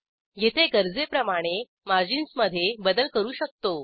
येथे गरजेप्रमाणे मार्जिन्समधे बदल करू शकतो